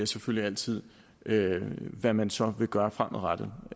selvfølgelig altid hvad man så vil gøre fremadrettet